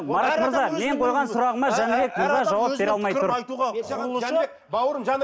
марат мырза мен қойған сұрағыма жәнібек мырза жауап бере алмай тұр